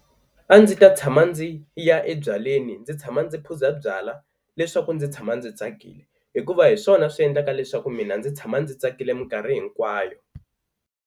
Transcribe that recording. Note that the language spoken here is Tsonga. A ndzi ta tshama ndzi ya ebyaleni ndzi tshama ndzi phuza byala leswaku ndzi tshama ndzi tsakile hikuva hi swona swi endlaka leswaku mina ndzi tshama ndzi tsakile minkarhi hinkwayo.